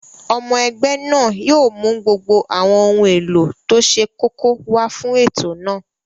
Ọmọ ẹgbẹ́ náà yóò mú gbogbo àwọn ohun èlò tó ṣe kókó wá fún ètò náà